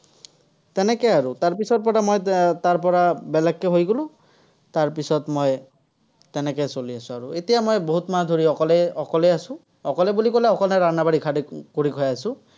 তেনেকে আৰু। তাৰ পিছৰপৰা মই এৰ তাৰপৰা বেলেগকে হৈ গ'লো। তাৰ পিছত মই তেনেকে চলি আছো আৰু। এতিয়া মই বহুত মাহ ধৰি অকলে অকলেই আছো। অকলে বুলি কলে অকলে খালি কৰি খাই আছো।